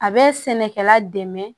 A bɛ sɛnɛkɛla dɛmɛ